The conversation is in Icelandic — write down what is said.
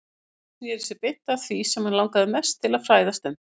Nikki snéri sér beint að því sem hann langaði mest til þess að fræðast um.